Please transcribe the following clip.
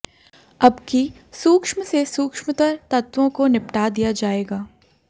अबकी सूक्ष्म से सूक्ष्मतर तत्वों को निपटा दिया जाएगा